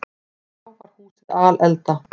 Þá var húsið alelda.